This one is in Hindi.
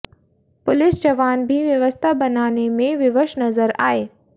पुलिस जवान भी व्यवस्था बनाने में विवश नजर आए